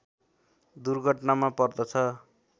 दुर्घटनामा पर्दछ